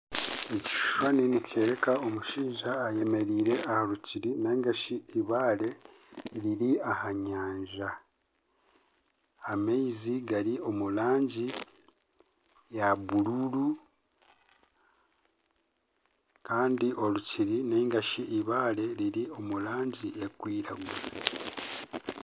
Ekishushani nikyoreka omushaija eyemereire aha rukiiri nari shi eibaare riri aha nyanja, amaizi gari omu rangi ya bururu kandi orukiri nari shi eibaare riri omu rangi erikwiragura